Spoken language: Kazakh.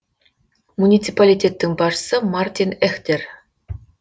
муниципалитеттің басшысы мартин эхтер